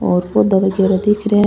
और पौधा वगेरा दिख रे है।